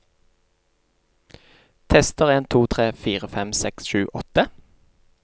Tester en to tre fire fem seks sju åtte